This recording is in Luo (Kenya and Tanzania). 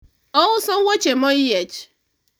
ouso wuoche moyiech